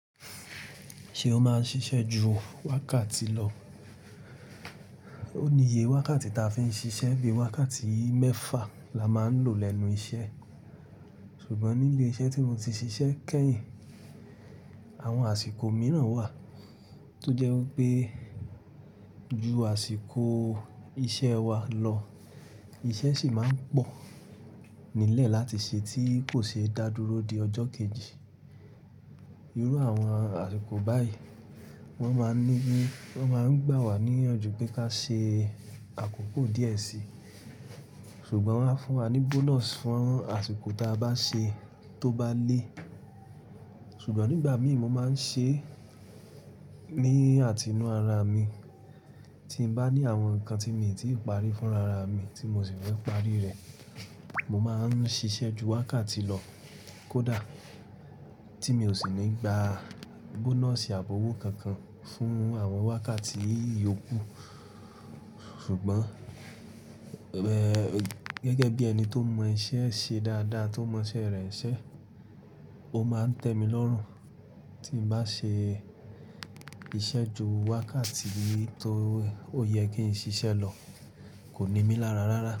Ṣe o máa ń ṣiṣẹ́ ju wákàtì lọ? Ó ní iye wákàtì ta fi ń ṣiṣẹ́, bí wákàtì mẹ́fà la máa ń lò lẹ́nu iṣẹ́, ṣùgbọ́n ní ilé-iṣẹ́ tí mo ti ṣiṣẹ́ kẹ́yìn, àwọn àsìkò mìíràn wà tó jẹ́ wipé ju àsìkò iṣẹ́ wa lọ. Iṣẹ́ ṣì máa ń pọ̀ nílẹ̀ láti ṣe tí kò ṣe dádúró di ọjọ́ kejì. Irú àwọn àsìkò báyìí, wọ́n máa ń gbà wá níyànjú pé ka ṣe àkókò díẹ̀ síi, ṣùgbọ́n wọ́n á fún wa ní bonus fún àsìkò táà bá ṣe tó bá lé. Sùgbọ́n nígbà míi, mo máa ń ṣe ní àtí inu ara mi. Tí n bá ní àwọn nǹkan tí mi tì parí fúnra ra mi tí mo sì fẹ́ parí rẹ̀, mo máa ń ṣiṣẹ́ ju wákàtì lọ, kọ́dá, tí mi o sì ní gba bonus àbi ówó kankan fún àwọn wákàtì ìyokú. Sùgbọ́n gẹ́gẹ́ bí ẹni tó mọ iṣẹ́ ṣe dáadáa, tó mọ iṣẹ́ rẹ̀ n ṣẹ́, ó máa ń tẹmílorùn tí n bá ṣe iṣẹ́ ju wákàtì tó ó yẹ kí n ṣiṣẹ́ lọ, kò ní mí lára rárá.